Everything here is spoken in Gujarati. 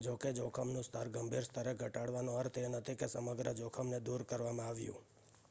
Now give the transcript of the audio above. જોકે જોખમનું સ્તર ગંભીર સ્તરે ઘટાડવાનો અર્થ એ નથી કે સમગ્ર જોખમ ને દૂર કરવામાં આવ્યું